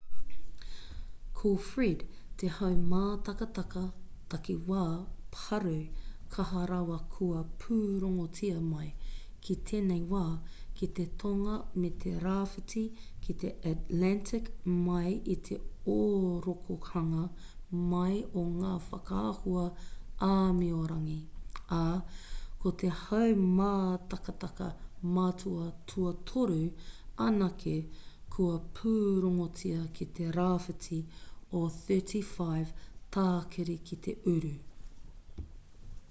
ko fred te haumātakataka takiwā pārū kaha rawa kua pūrongotia mai ki tēnei wā ki te tonga me te rāwhiti ki te atlantic mai i te ōrokohanga mai o ngā whakaahua āmiorangi ā ko te haumātakataka matua tuatoru anake kua pūrongotia ki te rāwhiti o 35 tākiri ki te uru